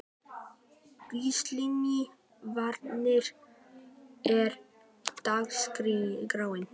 Gíslný, hvernig er dagskráin?